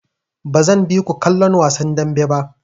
Bazan bi ku kallon wasan dambe ba.